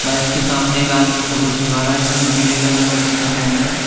इसके सामने एक आदमी फोटो खिंचवा रहा है जिसने पीले कलर का कुर्ता पेहना है।